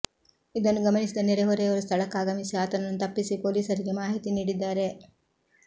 ಇದನ್ನು ಗಮನಿಸಿದ ನೆರೆ ಹೊರೆಯವರು ಸ್ಥಳಕ್ಕಾಗಮಿಸಿ ಆತನನ್ನು ತಪ್ಪಿಸಿ ಪೊಲೀಸರಿಗೆ ಮಾಹಿತಿ ನೀಡಿದ್ದಾರೆ